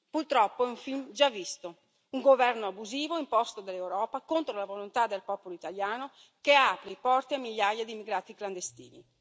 Purtroppo è un film già visto un governo abusivo, imposto dall'Europa contro la volontà del popolo italiano, che apre i porti a migliaia di immigrati clandestini.